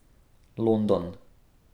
London.